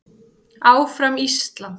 ÁFRAM ÍSLAND.